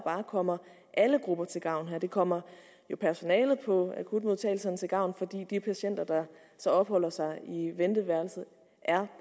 kommer alle grupper til gavn det kommer personalet på akutmodtagelserne til gavn fordi de patienter der så opholder sig i venteværelset er